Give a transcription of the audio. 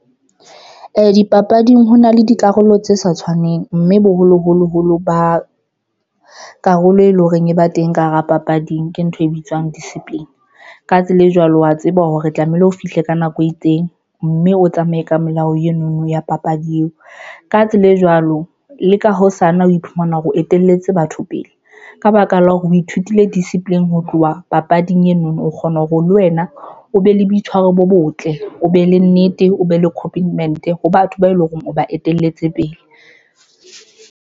Dipapading hona le dikarolo tse sa tshwaneng mme boholo holo holo ba karolo e leng hore e ba teng ka hara papading, ke ntho e bitswang discipline. Ka tsela e jwalo, wa tseba hore tlamehile o fihle ka nako e itseng mme o tsamaye ka melao eno no ya papadi eo ka tsela e jwalo le ka hosane. O iphumana hore o etelletse batho pele ka baka la hore o ithutile discipline ho tloha wa papading eno no kgona hore le wena o be le boitshwaro bo botle, o be le nnete, o be le complement ho batho ba eleng hore o ba etelletse pele.